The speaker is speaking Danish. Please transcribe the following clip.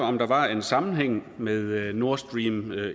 om der var en sammenhæng med nordstream